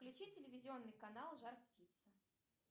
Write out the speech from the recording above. включи телевизионный канал жар птица